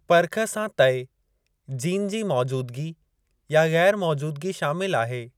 पर्ख सां तइ जीन जी मौजूदगी या ग़ैरु मौजूदगी शामिलु आहे।